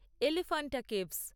Elephanta caves